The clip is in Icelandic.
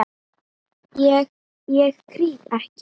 Ég, ég krýp ekki.